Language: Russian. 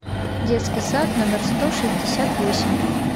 детский сад номер сто шестьдесят восемь